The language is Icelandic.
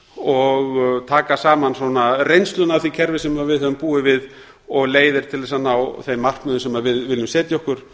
og taka saman reynsluna af því kerfi sem við höfum búið við og leiðir til þess að ná þeim markmiðum sem við viljum setja okkur